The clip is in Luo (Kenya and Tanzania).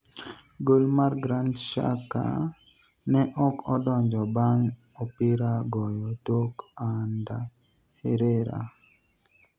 gol mar Grant Xhaka ne ok odonjo bang' opira goyo tok Ander Herrera